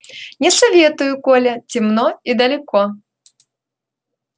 не советую коля темно и далеко